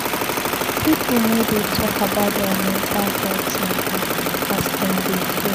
Pipu no dey tok about their mental healt mata as dem dey fear.